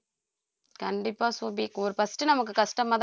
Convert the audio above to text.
கண்டிப்பா சோபி ஒரு first நமக்கு கஷ்டமா